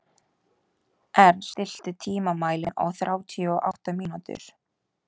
Ernst, stilltu tímamælinn á þrjátíu og átta mínútur.